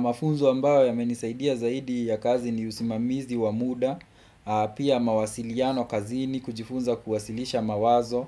Mafunzo ambayo yamenisaidia zaidi ya kazi ni usimamizi wa muda, pia mawasiliano kazini, kujifunza kuwasilisha mawazo,